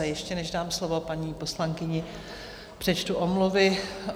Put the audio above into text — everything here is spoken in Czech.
A ještě než dám slovo paní poslankyni, přečtu omluvy.